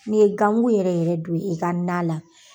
N'i ye ganmugu yɛrɛ yɛrɛ don i ka na la.